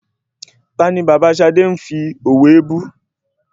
Tani bàbá Ṣadé ń fi òwe bú?